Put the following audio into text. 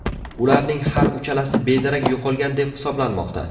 Ularning har uchalasi bedarak yo‘qolgan deb hisoblanmoqda.